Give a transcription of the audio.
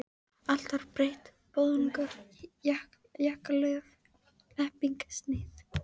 Allt var breytt, boðungar, jakkalöf, hnepping, snið.